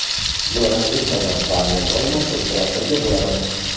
Buni rad etmayman va men doimo siz bilan birga bo‘laman.